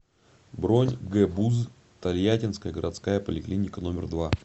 бронь гбуз тольяттинская городская поликлиника номер два